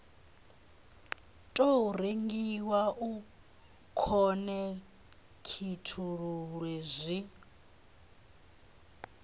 tou rengiwa u khonekhithululwe zwi